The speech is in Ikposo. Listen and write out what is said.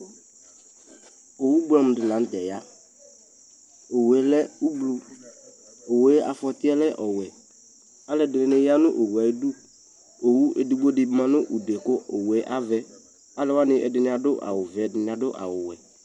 ɔwʋ bʋamʋ di lantɛ ya, ɔwʋɛ lɛ ɔblɔ, ɔwʋɛ aƒɔtiɛ lɛ ɔwɛ, alʋɛdini yanʋ ɔwʋɛ ayidʋ, ɔwʋɛ ɛdigbɔ di manʋ ʋdʋɛ kʋ ɔwʋɛ avɛ, alʋ wani ɛdini adʋ awʋ vɛ, ɛdini adʋ awʋ wɛ